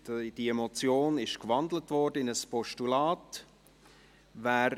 Die Motion wurde in ein Postulat gewandelt.